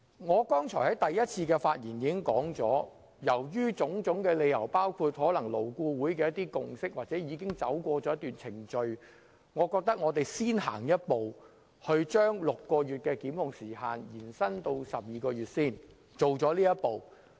我剛才在第一次發言時已表示基於種種理由，包括勞顧會所達成的共識或根據一些既定程序，我認為我們應先走這一步，把檢控時限由6個月延長至12個月。